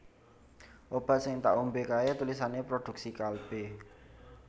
Obat sing tak ombe kae tulisane produksi Kalbe